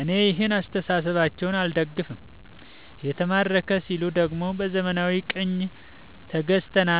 እኔ ይህን አስተሳሰባቸውን አልደግፈውም። የተማረከ ሲሉ ደግሞ በዘመናዊ ቅኝ ተገዛን